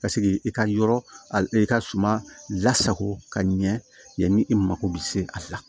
Ka seg'i i ka yɔrɔ a i ka suma lasago ka ɲɛ yanni i mako bɛ se a la